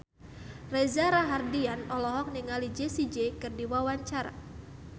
Reza Rahardian olohok ningali Jessie J keur diwawancara